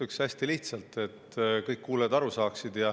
Ütlen hästi lihtsalt, et kõik kuulajad aru saaksid.